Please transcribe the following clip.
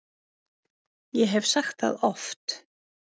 Ég hef sagt það oft.